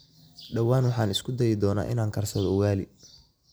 Dhawaan waxaan isku dayi doonaa inaan karsado ugali.